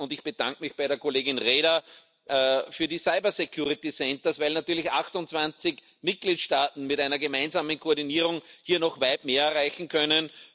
Ich bedanke mich bei Kollegin Reda für die Cyber Security Centres weil natürlich 28 Mitgliedstaaten mit einer gemeinsamen Koordinierung hier noch weit mehr erreichen können.